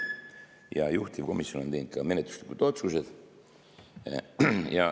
Ja juhtivkomisjon on teinud ka menetluslikud otsused.